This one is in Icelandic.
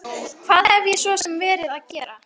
Hvað hef ég svo sem verið að gera?